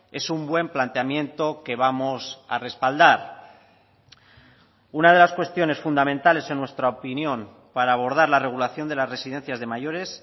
es un buen planteamiento que vamos a respaldar una de las cuestiones fundamentales en nuestra opinión para abordar la regulación de las residencias de mayores